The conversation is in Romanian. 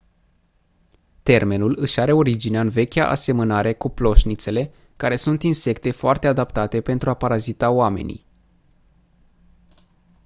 termenul își are originea în vechea asemănare cu ploșnițele care sunt insecte foarte adaptate pentru a parazita oamenii